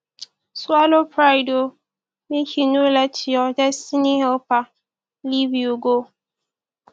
swallow pride o mek e no let yur destiny helper live you go